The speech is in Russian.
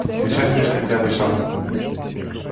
сейчас есть хотя бы шанс